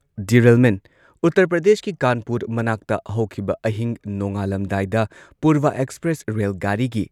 derailment- ꯎꯇꯔ ꯄ꯭ꯔꯗꯦꯁꯀꯤ ꯀꯥꯟꯄꯨꯔ ꯃꯅꯥꯛꯇ ꯍꯧꯈꯤꯕ ꯑꯍꯤꯡ ꯅꯣꯡꯉꯥꯜꯂꯝꯗꯥꯏꯗ ꯄꯨꯔꯚ ꯑꯦꯛꯁꯄ꯭ꯔꯦꯁ ꯔꯦꯜ ꯒꯥꯔꯤꯒꯤ